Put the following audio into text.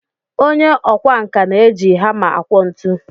Onye ọkwá nkà na-eji hama akwọ ntu